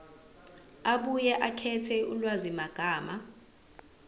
abuye akhethe ulwazimagama